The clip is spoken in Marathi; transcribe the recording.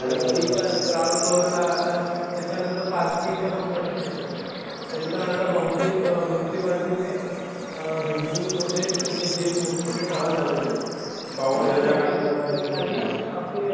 अरे तरीपण ग्राउंड फ्लोअरला आता त्याच्यानंतर पार्किंगचा पण प्रश्न येतो. तरीपण आता बहुतेक मुनिसिपाल्टीने बिल्डिंगमध्ये जे मोठं मोठे